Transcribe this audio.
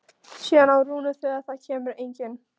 Síðan á Rúnu þegar það kemur engin.